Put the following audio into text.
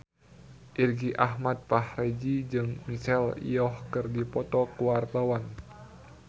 Irgi Ahmad Fahrezi jeung Michelle Yeoh keur dipoto ku wartawan